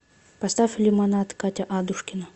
поставь лимонад катя адушкина